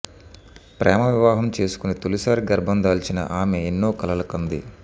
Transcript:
ప్రేమ వివాహం చేసుకుని తొలిసారి గర్భం దాల్చిన ఆమె ఎన్నో కలలు కంది